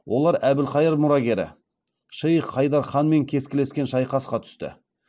олар әбілқайыр мұрагері шейх хайдар ханмен кескілескен шайқасқа түсті